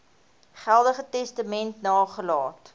geldige testament nagelaat